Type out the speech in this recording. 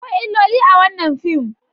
Akwai illoli a wannan fim.